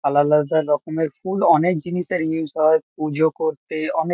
আলাদা আলাদা রকমের ফুল অনেক জিনিসের ইউস হয়। পুজো করতে অনেক।